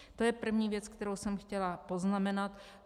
To je první věc, kterou jsem chtěla poznamenat.